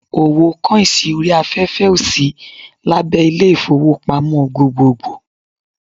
Owó kọ́ìnsì orí afẹ́fẹ́ ò sí abé Ilé-ìfowópamọ́ gbogbogbò